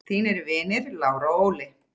Þínir vinir Lára og Óli.